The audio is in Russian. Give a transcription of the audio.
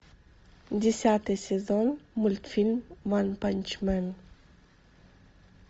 десятый сезон мультфильм ванпанчмен